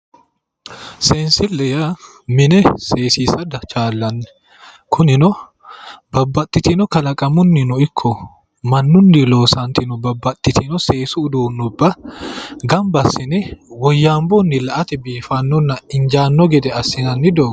Seessille yaa, mine seessisa chaallanni kunino babbaxxitino kalaqamunnino ikko mannunni loosantino babbaxxitino seessu uduunnubba gamba assine woyyabunni la"atenni la"ate biifannonna injaanno gede assinanni doogga